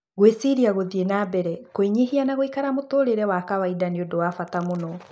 "Gwĩrĩciria gũthiĩ na mbere kũĩnyihia na gũikara muturĩrĩ wa kawaida nĩ ũndũ wa bata muno.